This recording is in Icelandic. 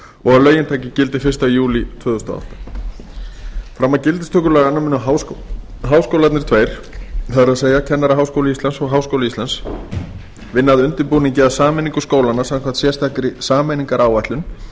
og að lögin taki gildi fyrsta júlí tvö þúsund og átta fram að gildistöku laganna munu háskólarnir vinna að undirbúningi að sameiningu skólanna samkvæmt sérstakri sameiningaráætlun